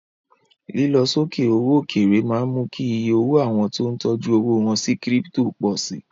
Lílọ sókè owó òkèèrè máa ń mú kí iye owó àwọn tó ń tọjú owó wọ́n sí Kírípítò pọ̀ si.